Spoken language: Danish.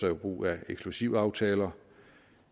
brug af eksklusivaftaler